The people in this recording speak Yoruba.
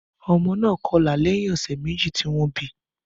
Ọmọ náà kọlà lẹ́yìn ọ̀sẹ̀ méjì tí wọ́n bí i